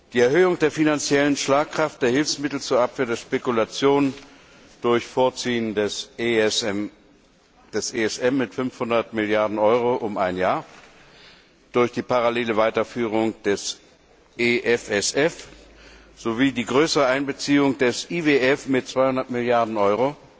Die Erhöhung der finanziellen Schlagkraft der Hilfsmittel zur Abwehr der Spekulationen durch Vorziehen des ESM mit 500 Milliarden Euro um ein Jahr, durch die parallele Weiterführung der EFSF sowie die größere Einbeziehung des IWF mit 200 Milliarden Euro